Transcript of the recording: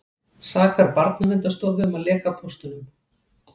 Sakar Barnaverndarstofu um að leka póstunum